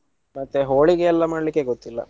ಮತ್ತೆ ಹೋಳಿಗೆಯೆಲ್ಲಾ ಮಾಡ್ಲಿಕ್ಕೆ ಗೊತ್ತಿಲ್ಲಾ.